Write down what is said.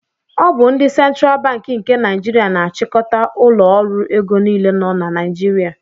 Ọ bụ ndị Central Banki nke Naijiria na-achịkọta ụlọ ọrụ ego niile nọ na Naijiria.